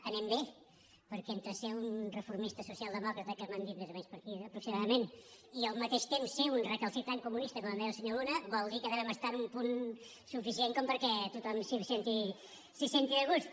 anem bé perquè entre ser un reformista socialdemòcrata que m’han dit més o menys per aquí aproximadament i al mateix temps ser un recalcitrant comunista com em deia el senyor luna vol dir que devem estar en un punt suficient perquè tothom s’hi senti a gust